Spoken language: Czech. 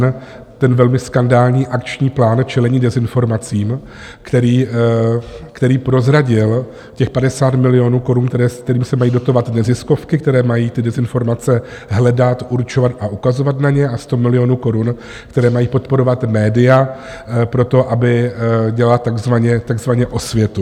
N ten velmi skandální akční plán čelení dezinformacím, který prozradil těch 50 milionů korun, kterými se mají dotovat neziskovky, které mají ty dezinformace hledat, určovat a ukazovat na ně, a 100 milionů korun, které mají podporovat média pro to, aby dělala takzvaně osvětu.